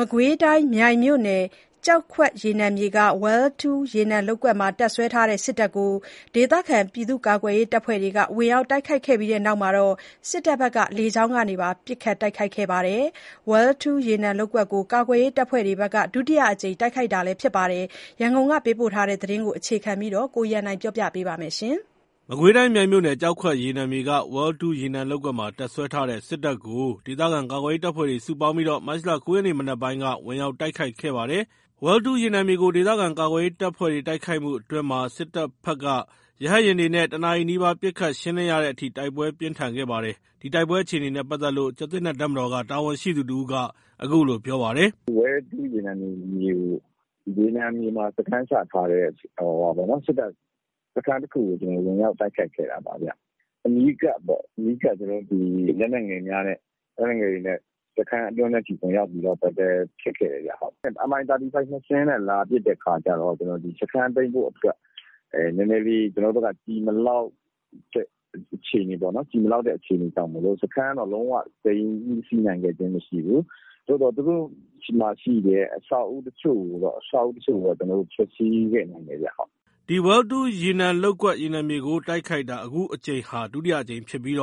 မကွေးတိုင်း၊ မြိုင်မြို့နယ်၊ ကျောက်ခွက်ရေနံမြေက Well 2 ရေနံလုပ်ကွက်မှာ တပ်စွဲထားတဲ့ စစ်တပ်ကို ဒေသခံ ကာကွယ်ရေးတပ်ဖွဲ့တွေက ဝင်ရောက်တိုက်ခိုက်ခဲ့တဲ့အတွက် စစ်တပ်ဘက်ကလည်း လေကြောင်းကနေ ပစ်ခတ်တိုက်ခိုက်ခဲ့ပါတယ်။ Well 2 ရေနံလုပ်ကွက်ကို ကာကွယ်ရေးတပ်ဖွဲ့တွေဘက်က ဒုတိယအကြိမ်တိုက်ခိုက်ခဲ့တာဖြစ်ပါတယ်။ ရန်ကုန်ကပေးပို့တဲ့သတင်းကို အခြေခံပြီး ကိုရန်နိုင်တင်ပြပါမယ်။ မကွေးတိုင်း မြိုင်မြို့နယ် ကျောက်ခွက်ရေနံမြေက Well 2 မှာ တပ်စွဲထားတဲ့ စစ်တပ်ကို ဒေသခံကာကွယ်ရေး တပ်ဖွဲ့တွေက စုပေါင်းပြီး မတ်လ ၉ ရက် မနက်ပိုင်းမှာ ဝင်ရောက်တိုက်ခိုက်ခဲ့ပါတယ်။ Well 2 ရေနံမြေကို ဒေသခံကာကွယ်ရေး တပ်ဖွဲ့တွေ တိုက်ခိုက်မှုအတွင်း စစ်တပ်ဘက်က ရဟတ်ယာဉ်တွေနဲ့ ၁ နာရီနီးပါး ပစ်ခတ်ရှင်းလင်းခဲ့တဲ့အထိ တိုက်ပွဲပြင်းထန်ခဲ့ပါတယ်။ တိုက်ခိုက်ခဲ့တဲ့ ကျားသစ်နက် တပ်မတော် ကာကွယ်ရေးအဖွဲ့တာဝန်ရှိသူတဦးက အခုလို ပြောပါတယ်။ “Well 2 ရေနံမြေမှာ စခန်းချထားတဲ့ စစ်တပ်စခန်းတခုကို ဝင်ရောက်တိုက်ခိုက်ခဲ့တာပါ။ အနီးကပ် လက်နက်ငယ်များနဲ့ စခန်းအတွင်းထဲအထိ တိုက်ပွဲဖြစ်ခဲ့တယ်။ Mi35 ၂ စင်းနဲ့ လာပစ်တဲ့အခါကျတော့ စခန်းသိမ်းဖို့အတွက် နည်းနည်းလေး ကျွန်တော်တို့ဘက်က ကျည်မလောက်တဲ့ အခြေအနေပေါ့နော်။ ကျည်မလောက်တဲ့ အခြေအနေကြောင့်မို့လို့ စခန်းတော့ လုံးဝသိမ်းဆည်းနိုင်ခဲ့ခြင်းမရှိဘူး။ သူတို့ဆီက အဆောက်အဦးတချို့ကိုတော့ ဖျက်ဆီးခဲ့နိုင်တယ်ခင်ဗျ။” ဒီ Well 2 ရေနံလုပ်ကွက်ကို ကာကွယ်ရေးအဖွဲ့တွေဘက်က တိုက်ခိုက်တာ အခုအကြိမ်ဟာ ဒုတိယအကြိမ်ဖြစ်ပြီး ၂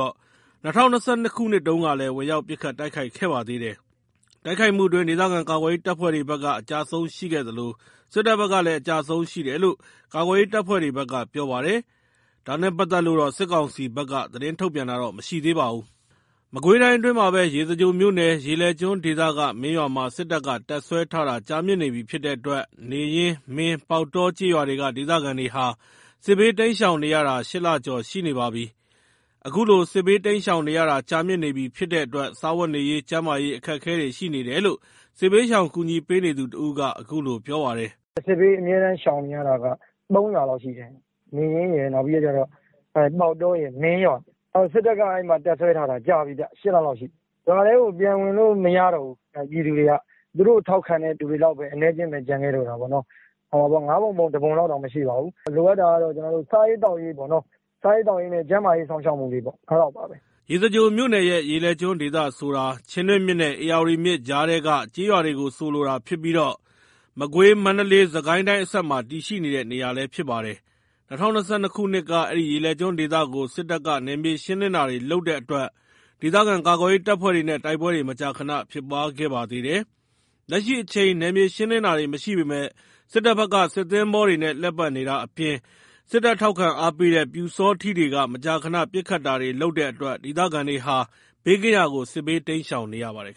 ၀၂၂ ခုနှစ်တုန်းကလည်း ဝင်ရောက်ပစ်ခတ်တိုက်ခိုက်ခဲ့ပါသေးတယ်။ တိုက်ခိုက်မှုအတွင်း ဒေသခံကာကွယ်ရေး တပ်ဖွဲ့တွေဘက်ကလည်း အကျအဆုံးရှိခဲ့သလို စစ်တပ်ဘက်ကလည်း အကျအဆုံးရှိတယ်လို့ ကာကွယ်ရေး တပ်ဖွဲ့တွေဘက်က ပြောပါတယ်။ ဒါနဲ့ ပတ်သက်လို့တော့ စစ်ကောင်စီဘက်က သတင်းထုတ်ပြန်တာတော့ မရှိသေးပါဘူး။ မကွေးတိုင်းအတွင်းမှာဘဲ ရေစကြိုမြို့နယ်၊ ရေလယ်ကျွန်းဒေသထဲမှာတော့ မင်းရွာမှာ စစ်တပ်တပ်စွဲနေတာ ကြာမြင့်နေပြီဖြစ်လို့ အနီးဝန်းကျင်က ဘေးလွတ်ရာ ပုန်းခိုနေသူတွေ အတော်လေးဒုက္ခရောက်နေပါတယ်။ နေရင်း ၊ မင်း ၊ ပေါက်တော ကျေးရွာတွေက ဒေသခံတွေဟာ စစ်ဘေးတိမ်းရှောင်နေရတာ ၈ လ ကျော်ရှိနေပါပြီ။ အခုလို စစ်ဘေးတိမ်းရှောင်နေရတာ ကြာမြင့်နေပြီဖြစ်တဲ့အတွက် စားဝတ်နေရေး ကျန်းမာရေးအခက်အခဲတွေရှိနေတယ်လို့ စစ်ဘေးရှောင်ကူညီပေးနေသူတဦးက အခုလို ပြောပါတယ်။ “စစ်ဘေးအမြဲရှောင်နေရတာက ၃ ရွာလောက်ရှိတယ်။ နေရင်းရယ်၊ ပေါက်တောရယ်၊ မင်းရွာရယ်။ စစ်တပ်က အဲ့မှာ တပ်စွဲထားတာကြာပြီ၊ ၈ လလောက်ရှိပြီ။ ရွာထဲကို ပြန်ဝင်လို့ မရတော့ဘူး။ ပြည်သူတွေက သူတို့ကို ထောက်ခံတဲ့ ပြည်သူတွေလောက်ပဲ အနည်းအကျဉ်းပဲ ကျန်ခဲ့တော့တာ၊ ၅ ပုံ ပုံ ၁ ပုံလောက်တောင် မရှိပါဘူး။ လိုအပ်တာကတော့ စားရေးသောက်ရေးနဲ့ ကျန်းမာရေး စောင့်ရှောက်မှုလေးပေါ့။ အဲ့လောက်ပါပဲ။” ရေစကြိုမြို့နယ်ရဲ့ ရေလယ်ကျွန်းဒေသဆိုတာဟာ ချင်းတွင်းမြစ်ရယ် ဧရာဝတီမြစ်ရယ် ကြားထဲက ကျေးရွာတွေကို ဆိုလိုတာဖြစ်ပြီး မကွေး၊ မန္တလေး၊ စစ်ကိုင်းတိုင်းအစပ်မှာ တည်ရှိတဲ့နေရာလည်း ဖြစ်ပါတယ်။ ၂၀၂၂ ခုနှစ်က အဲ့ဒီရေလယ်ကျွန်းဒေသကို စစ်တပ်က နယ်မြေ ရှင်းလင်းတာတွေ လုပ်တဲ့အတွက် ဒေသခံကာကွယ်ရေး တပ်ဖွဲ့တွေနဲ့ တိုက်ပွဲတွေ မကြာခဏ ဖြစ်ပွားခဲ့ပါသေးတယ်။ လက်ရှိမှာတော့ နယ်မြေရှင်းလင်းမှု မရှိပေမဲ့ စစ်တပ်ဘက်က စစ်သင်္ဘောတွေနဲ့ လှည့်ပတ်နေတာအပြင် စစ်တပ် ထောက်ခံအားပေးတဲ့ ပျူစောထီးတွေက မကြာခဏ ပစ်ခတ်တာတွေ လုပ်တဲ့အတွက် ဒေသခံတွေဟာ ဘေးကင်းရာကို စစ်ဘေးတိမ်းရှောင်နေရပါတယ်